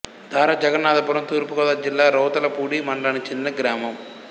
ధార జగన్నాధపురం తూర్పు గోదావరి జిల్లా రౌతులపూడి మండలానికి చెందిన గ్రామం